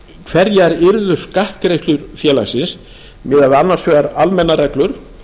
hverjar yrðu skattgreiðslur félagsins miðað við annars vegar almennar reglur